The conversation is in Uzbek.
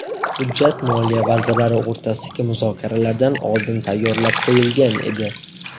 Hujjat moliya vazirlari o‘rtasidagi muzokaralardan oldin tayyorlab qo‘yilgan edi.